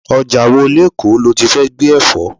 Ọjà wo lekoo loti fẹ́ gbé Ẹ̀fọ́?